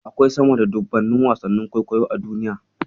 Akwai sama da dubunnan wasannin kwaikwayo a duniya.